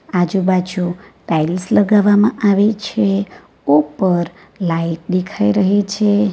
આજુબાજુ ટાઈલ્સ લગાવવામાં આવી છે ઉપર લાઈટ દેખાઈ રહી છે.